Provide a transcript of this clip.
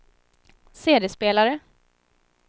CD-spelare